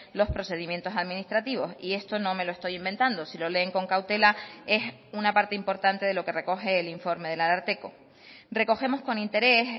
los procedimientos administrativos y esto no me lo estoy inventando si lo leen con cautela es una parte importante de lo que recoge el informe del ararteko recogemos con interés